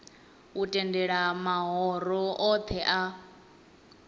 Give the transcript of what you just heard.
u tendela mahoro othe a